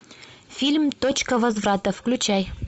фильм точка возврата включай